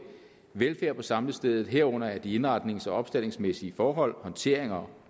velfærd på samlestedet herunder af de indretnings og opstaldningsmæssige forhold håndtering og